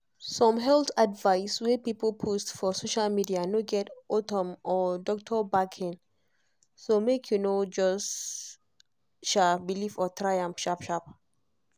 some health advice wey people post for social media no get autumn or doctor backing so make you no just um believe or try am sharp-sharp